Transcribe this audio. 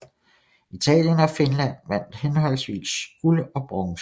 Italien og Finland vandt henholdsvis guld og bronze